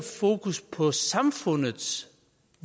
fokus på samfundets